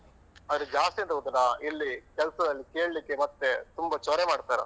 ಮತ್ತೆ ಜಾಸ್ತಿ ಎಂತ ಗೊತ್ತುಂಟ ಇಲ್ಲಿ ಕೆಲ್ಸದಲ್ಲಿ ಕೇಳಿಕ್ಕೆ ಮತ್ತೆ ತುಂಬ ಚೊರೆ ಮಾಡ್ತಾರಾ.